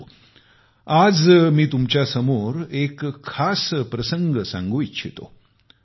परंतु आज मी तुमच्यासमोर एक खास प्रसंग सांगू इच्छित आहे